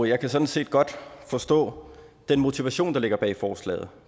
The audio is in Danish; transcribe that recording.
jeg kan sådan set godt forstå den motivation der ligger bag forslaget